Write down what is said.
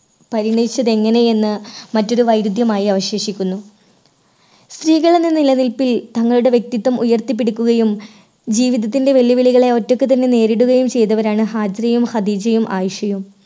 പരിണയിച്ചത് എങ്ങനെ എന്ന് മറ്റൊരു വൈരുദ്ധ്യമായി അവശേഷിക്കുന്നു. സ്ത്രീകൾ എന്ന നിലനിൽപ്പിൽ തങ്ങളുടെ വ്യക്തിത്വം ഉയർത്തിപ്പിടിക്കുകയും ജീവിതത്തിൻറെ വെല്ലുവിളികളെ ഒറ്റയ്ക്ക് തന്നെ നേരിടുകയും ചെയ്തവരാണ് ഹാജിറയും, ഹദീജയും, ആയിഷയും.